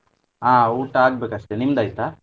ಹಾ ಊಟ ಆಗ್ಬೇಕು ಅಷ್ಟೇ, ನಿಮ್ದ್ ಆಯ್ತಾ?